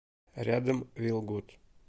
рядом вилгуд